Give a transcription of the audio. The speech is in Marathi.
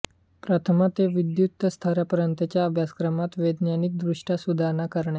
प्रथमा ते विद्वत स्तरापर्यंतच्या अभ्यासक्रमात वैज्ञानिकदृष्ट्या सुधारणा करणे